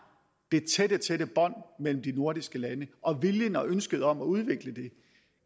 det tætte tætte bånd mellem de nordiske lande og viljen til og ønsket om at udvikle det